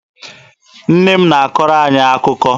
Nne m na-akọrọ anyị akụkọ.